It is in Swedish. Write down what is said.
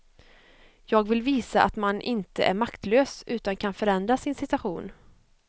Jag vill visa att man inte är maktlös, utan kan förändra sin situation.